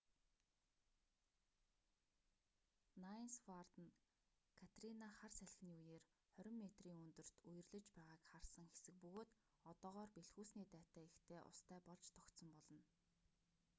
найнс вард нь катрина хар салхины үеэр 20 метрийн өндөрт үерлэж байгааг харсан хэсэг бөгөөд одоогоор бэлхүүсний дайтай ихтэй устай болж тогтсон болно